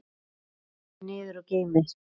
Rífið niður og geymið.